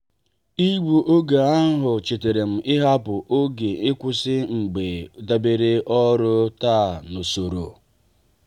igbu oge ahụ chetaram ịhapụ oge nkwụsị mgbe debere ọrụ taa n'usoro.